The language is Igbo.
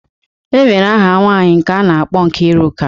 E nwere aha nwaanyị nke a na-akpọ Nkiruka.